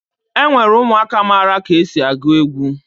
E nwere ụmụaka mara ka esi agụ egwu